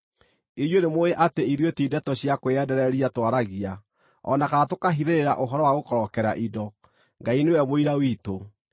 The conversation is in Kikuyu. Inyuĩ nĩmũũĩ atĩ ithuĩ ti ndeto cia kwĩyendereria twaragia, o na kana tũkahithĩrĩra ũhoro wa gũkorokera indo; Ngai nĩwe mũira witũ.